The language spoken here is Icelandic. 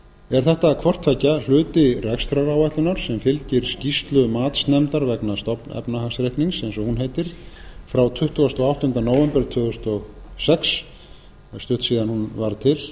er þetta hvort tveggja hluti rekstraráætlunar sem fylgir skýrslu matsnefndar vegna stofnefnahagsreiknings frá tuttugasta og áttunda nóvember tvö þúsund og sex það er stutt síðan hún varð til